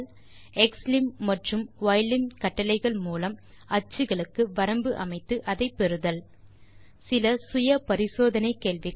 xlim மற்றும் ylim கட்டளைகள் மூலம் அச்சுக்களுக்கு வரம்பு அமைத்து அதை பெறுதல் சில சுய பரிசோதனை கேள்விகள்